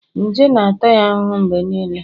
nje na-ata ya ahụhụ mgbe niile